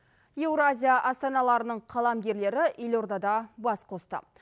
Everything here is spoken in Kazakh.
еуразия астаналарының қаламгерлері елордада бас қосты